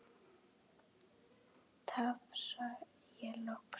tafsa ég loks.